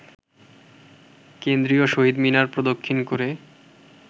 কেন্দ্রীয় শহীদ মিনার প্রদক্ষিণ করে